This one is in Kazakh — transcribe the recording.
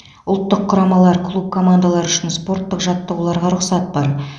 ұлттық құрамалар клуб командалары үшін спорттық жаттығуларға рұқсат бар